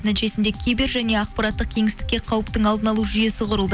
нәтижесінде кибер және ақпараттық кеңістікке қауіптің алдын алу жүйесі құрылды